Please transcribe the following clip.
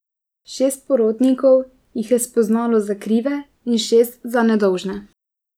Šest porotnikov jih je spoznalo za krive in šest za nedolžne.